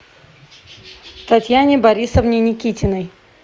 татьяне борисовне никитиной